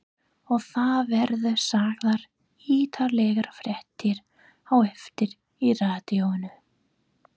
Og það verða sagðar ítarlegar fréttir á eftir í radíóinu.